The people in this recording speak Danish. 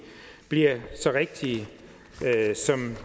bliver så rigtige som